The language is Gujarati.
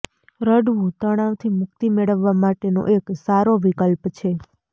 રડવું તણાવથી મુક્તિ મેળવવા માટેનો એક સારો વિકલ્પ છે